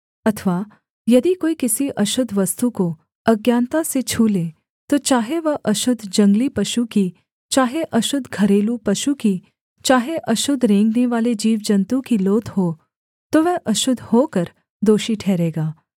अथवा यदि कोई किसी अशुद्ध वस्तु को अज्ञानता से छू ले तो चाहे वह अशुद्ध जंगली पशु की चाहे अशुद्ध घरेलू पशु की चाहे अशुद्ध रेंगनेवाले जीवजन्तु की लोथ हो तो वह अशुद्ध होकर दोषी ठहरेगा